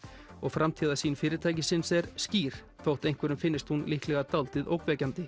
og framtíðarsýn fyrirtækisins er skýr þótt einhverjum finnist hún líklega dáldið ógnvekjandi